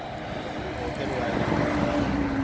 ସିଏ budget ବାହାରେ।